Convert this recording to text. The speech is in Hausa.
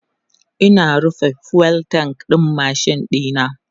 Ina rufe fuel tank ɗin machine ɗina